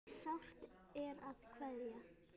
En sárt er að kveðja.